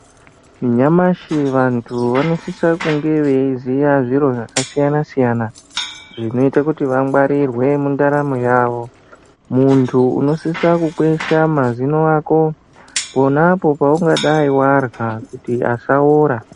Nyamashi vandu vanosisa kunge veiziya zviro zvakasiyana siyana zvinoite kuti vangwarirwe mundaramo yavo mundu unosisa kukwesha mazino ako ponapo paungadayi wadya kuti asawora.